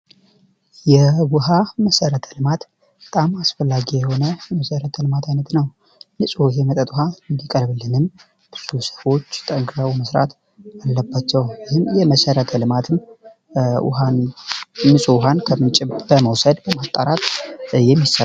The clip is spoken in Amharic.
የዉሃ መሰረተ ለልማት በጣም አስፈላጊ የሆነ የመሰረተ ልማት አይነት ነው። ንፁህ የመጠጥ ውሃ እንዲቀርብልንም ጠንክረው መመስራት አለባቸው። ይህ የመሰረተ ልማትም ንፁህ ዉሃን ከምንጭ በመውሰድ በማጣራት የሚሰራ ነው።